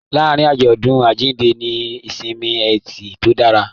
Láàrin ajọdun àjínde ní ìsinmi ẹtì to dára.